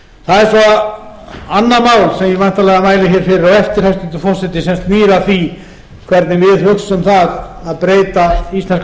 það er svo annað mál sem ég væntanlega mæli fyrir á eftir hæstvirtur forseti sem snýr að því hvernig við hugsum það að breyta íslenska